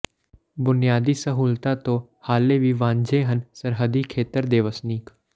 ਬੁਨਿਆਦੀ ਸਹੂਲਤਾਂ ਤੋਂ ਹਾਲੇ ਵੀ ਵਾਂਝੇ ਹਨ ਸਰਹੱਦੀ ਖੇਤਰ ਦੇ ਵਸਨੀਕ